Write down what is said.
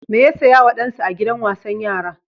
Me ya saya wa ɗansa a gidan wasan yara?